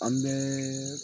An bɛɛ